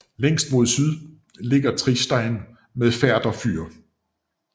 Længst mod syd ligger Tristein med Færder fyr